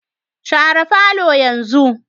Share falo yanzu